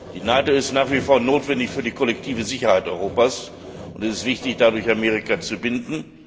Die NATO ist nach wie vor notwendig für die kollektive Sicherheit Europas, und es ist wichtig, dadurch Amerika zu binden.